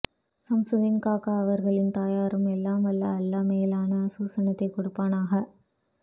சம்சுதீன் காக்கா அவர்களின் தாயாருக்கு எல்லாம் வல்ல அல்லாஹ் மேலான சுஅனத்தை கொடுப்பானாக